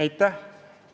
Aitäh!